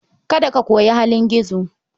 Kada ka koyi halin gizo.